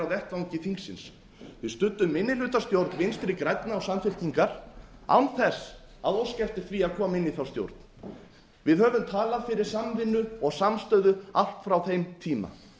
vettvangi þingsins við studdum minnihlutastjórn vinstri grænna og samfylkingar án þess að óska eftir því að koma inn í þá stjórn við höfum talað fyrir samvinnu og samstöðu allt frá þeim tíma